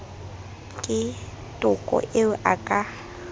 ke toko eo a ka